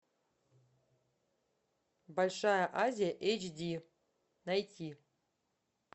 большая азия эйч ди найти